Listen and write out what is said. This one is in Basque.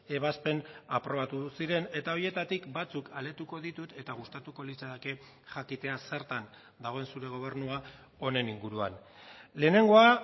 ebazpen aprobatu ziren eta horietatik batzuk aletuko ditut eta gustatuko litzaidake jakitea zertan dagoen zure gobernua honen inguruan lehenengoa